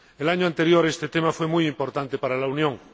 El año anterior este tema fue muy importante para la Unión.